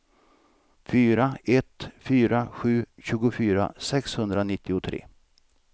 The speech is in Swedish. fyra ett fyra sju tjugofyra sexhundranittiotre